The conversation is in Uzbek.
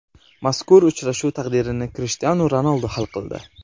Mazkur uchrashuv taqdirini Krishtianu Ronaldu hal qildi.